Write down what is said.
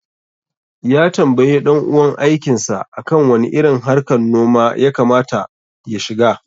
Ya tambaye ɗan uwan aikin sa akan wani irin harkar noma ya kama ta ya shiga.